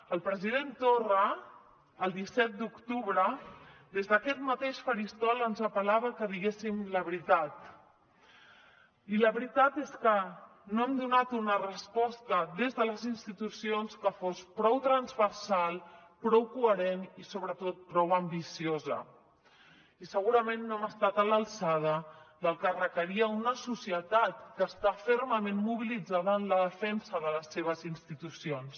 el president torra el disset d’octubre des d’aquest mateix faristol ens apel·lava que diguéssim la veritat i la veritat és que no hem donat una resposta des de les institucions que fos prou transversal prou coherent i sobretot prou ambiciosa i segurament no hem estat a l’alçada del que requeria una societat que està fermament mobilitzada en la defensa de les seves institucions